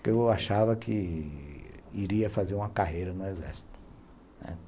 Porque eu achava que iria fazer uma carreira no Exército, né.